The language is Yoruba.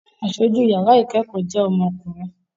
Aṣojú yàrá ìkẹ́kọ̀ọ́ jẹ́ ọmọkùnrin